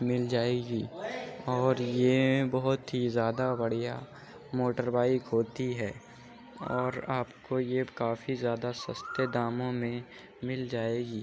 मिल जाएगी और ये बहुत ही ज्यादा बढ़िया मोटरबाइक होती है और आपको ये काफी ज्यादा सस्ते दामों में मिल जाएगी।